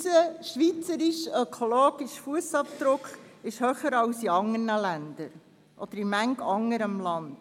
Unser schweizerischer ökologischer Fussabdruck ist höher als jener in manch anderem Land.